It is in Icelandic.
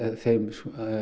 þeim